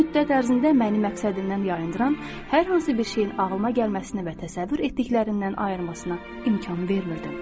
Bu müddət ərzində məni məqsədimdən yayındıran hər hansı bir şeyin ağlıma gəlməsinə və təsəvvür etdiklərindən ayırmasına imkan vermirdim.